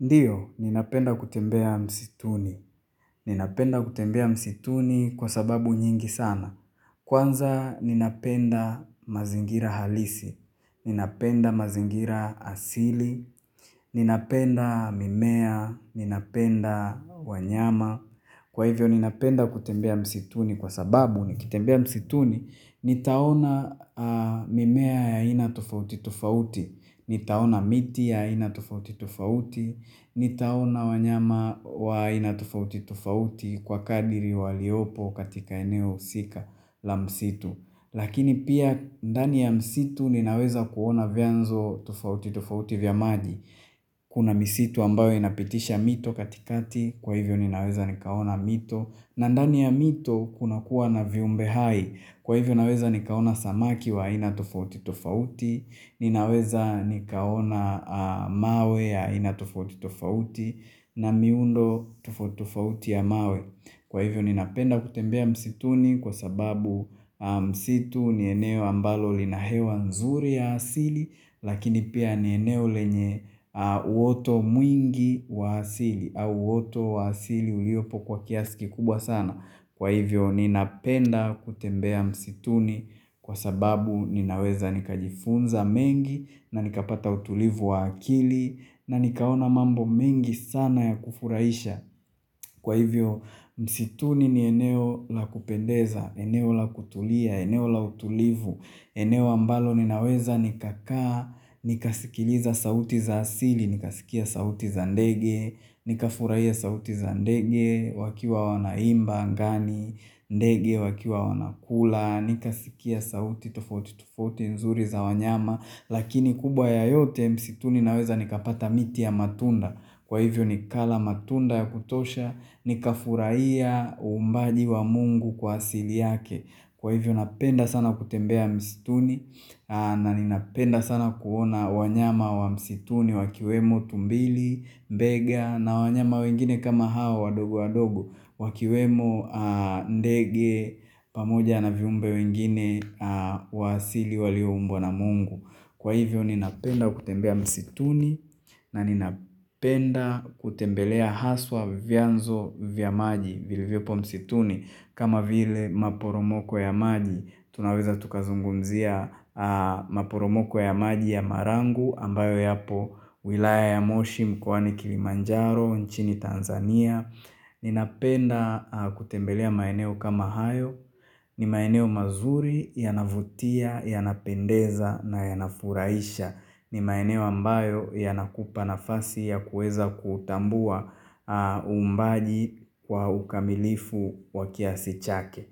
Ndiyo, ninapenda kutembea msituni. Ninapenda kutembea msituni kwa sababu nyingi sana. Kwanza, ninapenda mazingira halisi. Ninapenda mazingira asili. Ninapenda mimea. Ninapenda wanyama. Kwa hivyo ni napenda kutembea msituni kwa sababu nikitembea msituni, nitaona mimea ya ina tofauti tofauti, nitaona miti ya aina tofauti tofauti, nitaona wanyama wa aina tofauti tofauti kwa kadiri waliopo katika eneo sika la msitu. Lakini pia ndani ya msitu ninaweza kuona vyanzo tofauti tofauti vya maji. Kuna msitu ambayo inapitisha mito katikati, kwa hivyo ninaweza nikaona mito. Na ndani ya mito kuna kuwa na viumbe hai, kwa hivyo naweza nikaona samaki wa ina tofauti tofauti, ninaweza nikaona mawe ya aina tofauti tofauti, na miundo tofauti tofauti ya mawe. Kwa hivyo ni napenda kutembea msituni kwa sababu msitu ni eneo ambalo lina hewa nzuri ya asili lakini pia ni eneo lenye uoto mwingi wa asili au uoto wa asili uliopo kwa kiasiki kubwa sana. Kwa hivyo ninapenda kutembea msituni kwa sababu ninaweza nikajifunza mengi na nikapata utulivu wa akili na nikaona mambo mengi sana ya kufuraisha. Kwa hivyo msituni ni eneo la kupendeza, eneo la kutulia, eneo la utulivu, eneo ambalo ninaweza nikakaa, nikasikiliza sauti za asili, nikasikia sauti za ndege, nikafurahia sauti za ndege, wakiwa wanaimba angani, ndege wakiwa wanakula, nikasikia sauti tofauti tofauti nzuri za wanyama. Lakini kubwa ya yote msituni naweza nikapata miti ya matunda Kwa hivyo nikala matunda ya kutosha Nikafurahia umbaji wa mungu kwa asili yake Kwa hivyo napenda sana kutembea msituni na ninapenda sana kuona wanyama wa msituni Wakiwemo tumbili, bega na wanyama wengine kama hao wadogo wadogo Wakiwemo ndege pamoja na viumbe wengine wa asili walioubwa na mungu Kwa hivyo ninapenda kutembea msituni na ninapenda kutembelea haswa vianzo vya maji vilivyopo msituni kama vile maporomoko ya maji tunaweza tukazungumzia maporomoko ya maji ya marangu ambayo yapo wilaya ya moshi mkoani Kilimanjaro nchini Tanzania Ninapenda kutembelea maeneo kama hayo ni maeneo mazuri yanavutia, yanapendeza na yanafurahisha ni maeneo ambayo yanakupa nafasi ya kueza kutambua umbaji kwa ukamilifu wakiasi chake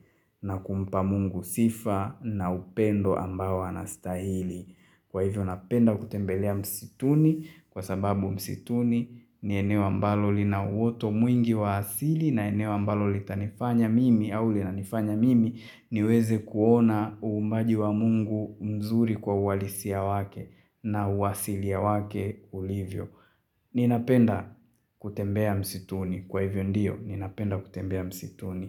na kumpa mungu sifa na upendo ambao anastahili kwa hivyo napenda kutembelea msituni Kwa sababu msituni ni eneo ambalo lina uoto mwingi wa asili na eneo amabalo litanifanya mimi au linanifanya mimi niweze kuona umbaji wa mungu mzuri kwa uwalisia wake na uwasilia wake ulivyo. Ninapenda kutembea msituni. Kwa hivyo ndiyo, ninapenda kutembea msituni.